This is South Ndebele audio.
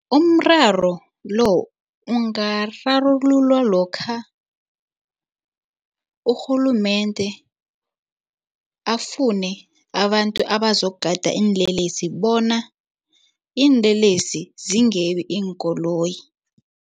Umraro lo ungararululwa lokha urhulumende afune abantu abazokugada iinlelesi bona iinlelesi zingebi iinkoloyi.